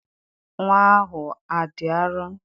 Nnwa ahụ adị arọ?